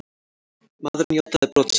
Maðurinn játaði brot sitt.